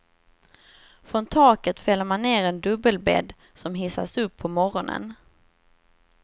Från taket fäller man ner en dubbelbädd som hissas upp på morgonen.